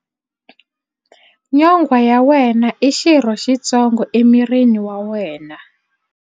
Nyonghwa ya wena i xirho xitsongo emirini wa wena.